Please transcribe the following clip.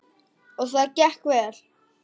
Og það gekk vel.